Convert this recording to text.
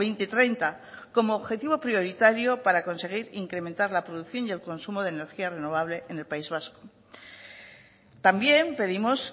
dos mil treinta como objetivo prioritario para conseguir incrementar la producción y el consumo de energías renovables en el país vasco también pedimos